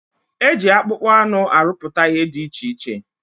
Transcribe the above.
Eji akpụkpọ anụ arụpụta ihe dị iche iche.